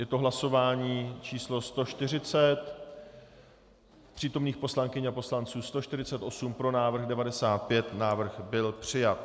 Je to hlasování číslo 140, přítomných poslankyň a poslanců 148, pro návrh 95, návrh byl přijat.